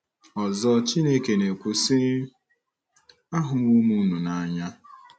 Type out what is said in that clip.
Ọzọ, Chineke na-ekwu si, Ahụwo m unu n’anya.